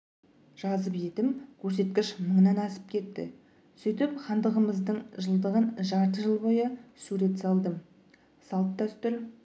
жазып едім көрсеткіш мыңнан асып кетті сөйтіп хандығымыздың жылдығын жарты жыл бойы сурет салдым салт-дәстүр